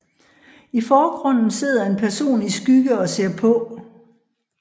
I forgrunden sidder en person i skygge og ser på